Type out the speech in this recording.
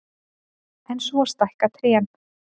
En svo stækka trén.